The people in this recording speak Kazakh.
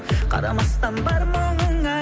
қарамастан бар мұңыңа